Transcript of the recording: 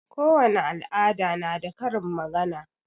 Kowani al'ada na da karin magana.